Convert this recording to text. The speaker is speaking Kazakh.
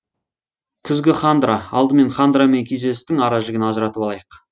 күзгі хандра алдымен хандра мен күйзелістің ара жігін ажыратып алайық